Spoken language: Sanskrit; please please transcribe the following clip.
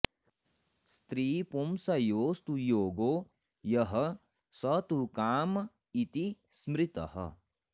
स्त्रीपुंसयोस्तु योगो यः स तु काम इति स्मृतः